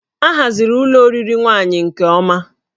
A haziri ụlọ oriri nwaanyị nke ọma